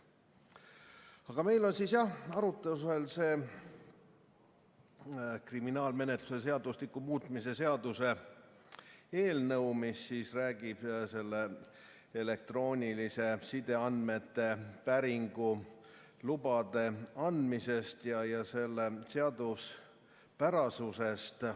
Aga meil on siis jah arutlusel kriminaalmenetluse seadustiku muutmise seaduse eelnõu, mis räägib elektrooniliste sideandmete päringu lubade andmisest ja selle seaduspärasusest.